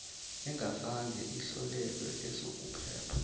engazange ihlolelwe ezokuphepha